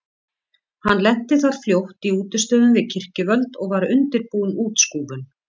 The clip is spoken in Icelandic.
Hann lenti þar fljótt í útistöðum við kirkjuvöld og var undirbúin útskúfun.